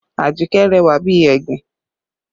Ajikẹ́ rẹwà bí egbin